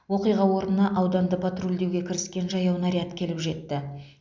оқиға орнына ауданды патрульдеуге кіріскен жаяу наряд келіп жетті